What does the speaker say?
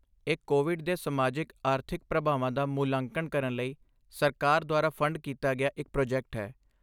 ਇਹ ਕੋਵਿਡ ਦੇ ਸਮਾਜਿਕ ਆਰਥਿਕ ਪ੍ਰਭਾਵਾਂ ਦਾ ਮੁਲਾਂਕਣ ਕਰਨ ਲਈ ਸਰਕਾਰ ਦੁਆਰਾ ਫੰਡ ਕੀਤਾ ਗਿਆ ਇੱਕ ਪ੍ਰੋਜੈਕਟ ਹੈ